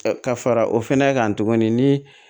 Ka fara o fɛnɛ kan tuguni ni